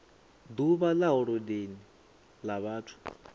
uvha ḽa holodeni ḽa vhathu